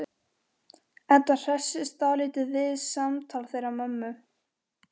Edda hressist dálítið við samtal þeirra mömmu.